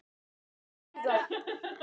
Lítum fyrst á seinna atriðið.